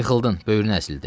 Yıxıldın, böyrün əzildi.